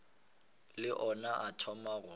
le ona a thoma go